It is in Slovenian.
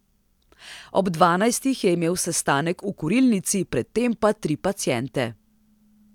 Ob dvanajstih je imel sestanek v Kurilnici, pred tem pa tri paciente.